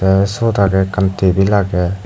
tey siyot agey ekkan tebil agey.